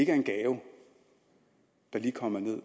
er en gave der lige kommer